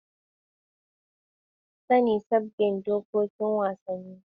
Sami sabbin dokokin wasanni.